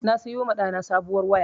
Na sayoma ɗana sabowar waya